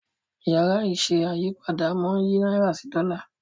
Yàrá iṣẹ́ ayípadà món yí náírà sí Dòla.